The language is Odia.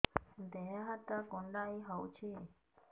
ଦେହ ହାତ କୁଣ୍ଡାଇ ହଉଛି